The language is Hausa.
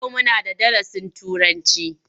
Yau muna da darasin Turanci?